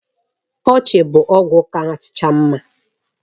Ọchị bụ ọgwụ kacha mma